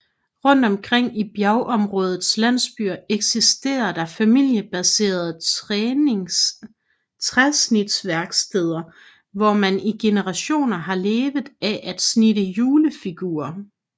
Rundt omkring i bjergområdets landsbyer eksisterer der familiebaserede træsnitsværksteder hvor man i generationer har levet af at snitte julefigurer